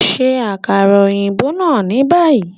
Ṣe akara oyinbo naa ni bayi!